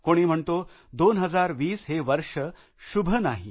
कोणी म्हणतो 2020 हे वर्ष शुभ नाही आहे